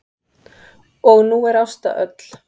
Og nú er Ásta öll.